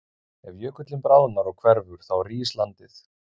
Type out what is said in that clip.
Ef jökullinn bráðnar og hverfur þá rís landið.